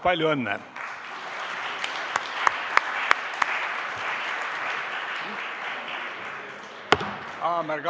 Palju õnne!